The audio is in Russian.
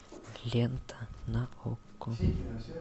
лента на окко